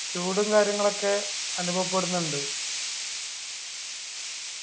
ചൂടും കാര്യങ്ങളൊക്കെ അനുഭവപ്പെടുന്നുണ്ട്